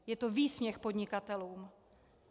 Je to výsměch podnikatelům.